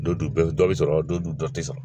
Don dɔ dɔ bɛ sɔrɔ, don dɔ tɛ sɔrɔ.